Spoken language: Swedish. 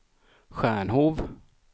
Stjärnhov